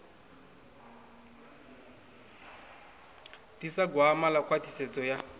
ḓisa gwama ḽa khwaṱhisedzo ya